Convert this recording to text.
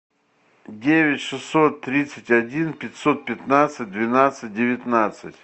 девять шестьсот тридцать один пятьсот пятнадцать двенадцать девятнадцать